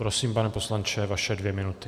Prosím, pane poslanče, vaše dvě minuty.